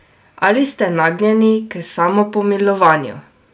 Ali ste nagnjeni k samopomilovanju?